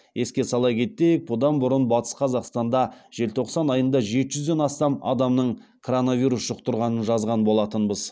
еске сала кетейік бұдан бұрын батыс қазақстанда желтоқсан айында жеті жүзден астам адамның коронавирус жұқтырғанын жазған болатынбыз